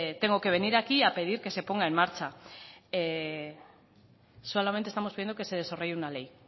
tengo que venir aquí a pedir que se ponga en marcha solamente estamos pidiendo que se desarrolle una ley